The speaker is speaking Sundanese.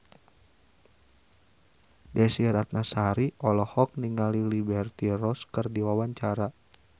Desy Ratnasari olohok ningali Liberty Ross keur diwawancara